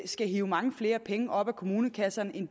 skal hive mange flere penge op af kommunekassen end